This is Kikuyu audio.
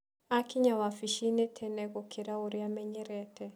Aakinya wabici-inĩ tene gũkĩra ũrĩa aamenyerete.